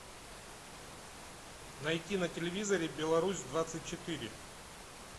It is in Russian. найти на телевизоре беларусь двадцать четыре